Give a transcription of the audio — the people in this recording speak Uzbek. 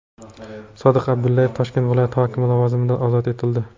Sodiq Abdullayev Toshkent viloyati hokimi lavozimidan ozod etildi.